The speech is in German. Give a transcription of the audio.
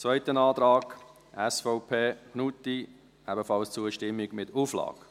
Zweiter Antrag, SVP/Knutti, ebenfalls Zustimmung mit Auflage.